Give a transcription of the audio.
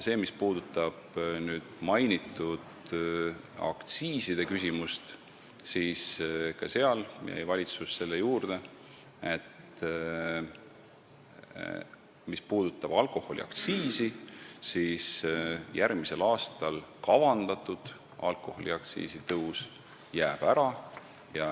Mis puudutab mainitud aktsiiside küsimust, siis ka seal jäi valitsus selle juurde, et järgmiseks aastaks kavandatud alkoholiaktsiisi tõus jääb ära.